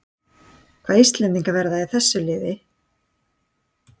Hvaða íslendingar verða í þessu liði?